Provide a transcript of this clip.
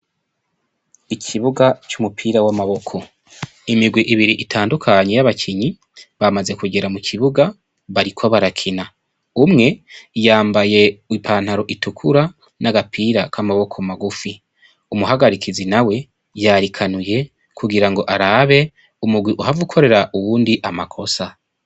Ikibuga c'umupira w'amaboko, imirwi ibiri itandukanye y'abakinyi bamaze kugera mu kibuga bariko barakina, umwe yambaye ipantaro itukura n'agapira k'amaboko magufi, umuhagarikizi nawe yarikanuye kugira ngo arabe umugwi uhava ukorera uwundi amakosa.